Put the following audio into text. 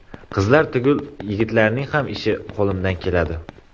Qizlar tugul yigitlarning ham ishi qo‘limdan keladi.